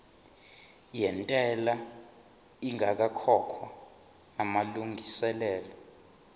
yentela ingakakhokhwa namalungiselo